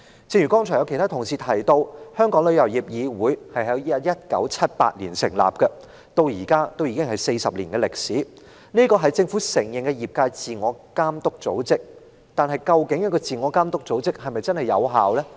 正如剛才其他同事提及，旅議會在1978年成立，至今已有40年歷史，是政府承認的業界自我監督組織，但這個自我監督組織是否真正有效呢？